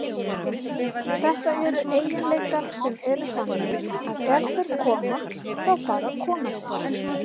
Þetta eru eiginleikar sem eru þannig að ef þeir koma, þá bara koma þeir.